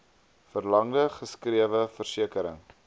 verlangde geskrewe versekering